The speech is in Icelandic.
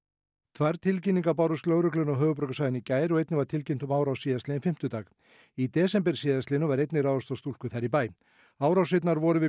tvær tilkynningar bárust lögreglunni á höfuðborgarsvæðinu í gær og einnig var tilkynnt um árás síðastliðinn fimmtudag í desember síðastliðnum var einnig ráðist á stúlku þar í bæ árásirnar voru við